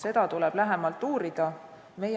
Seda tuleb lähemalt uurida.